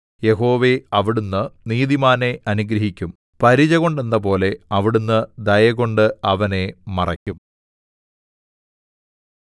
യഹോവേ അവിടുന്ന് നീതിമാനെ അനുഗ്രഹിക്കും പരിചകൊണ്ടെന്നപോലെ അവിടുന്ന് ദയകൊണ്ട് അവനെ മറയ്ക്കും